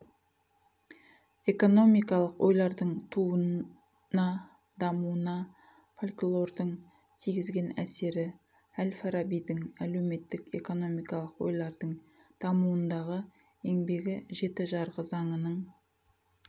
экономикалық ойлардың туына дамуына фольклордің тигізген әсері әл-фарабидің әлеуметтік экономикалық ойлардың дамуындағы еңбегі жеті жарғы занының